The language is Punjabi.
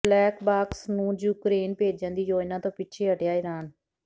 ਬਲੈਕ ਬਾਕਸ ਨੂੰ ਯੂਕ੍ਰੇਨ ਭੇਜਣ ਦੀ ਯੋਜਨਾ ਤੋਂ ਪਿੱਛੇ ਹਟਿਆ ਈਰਾਨ